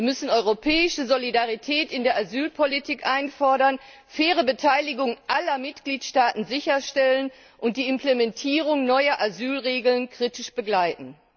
Wir müssen europäische Solidarität in der Asylpolitik einfordern, faire Beteiligung aller Mitgliedstaaten sicherstellen und die Implementierung neuer Asylregeln kritisch begleiten.